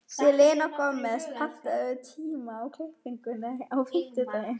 Selina, pantaðu tíma í klippingu á fimmtudaginn.